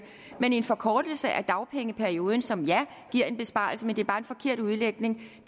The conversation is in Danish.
men en forkortelse af dagpengeperioden som ja giver en besparelse men det er bare en forkert udlægning det